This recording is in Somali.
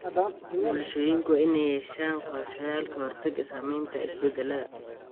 Bulshooyinku waa inay yeeshaan qorshayaal ka hortagga saameynta isbedelada.